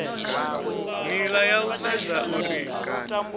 nila ya u sedza uri